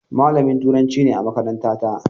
Malamin Turanci ne a makarantata.